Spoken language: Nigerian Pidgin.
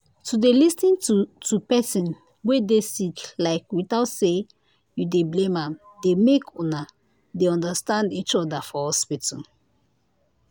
to dey lis ten to to pesin wey dey sick like without say you dey blame am dey make una dey understand each other for hospital.